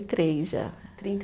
e três já. Trinta